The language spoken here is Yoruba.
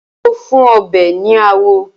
Epo ń fún ọbẹ̀ ní àwọ̀